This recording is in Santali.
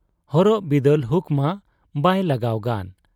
ᱦᱚᱨᱚᱜ ᱵᱤᱫᱟᱹᱞ ᱦᱩᱠᱢᱟ ᱵᱟᱭ ᱞᱟᱜᱟᱣ ᱜᱟᱱ ᱾